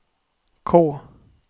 K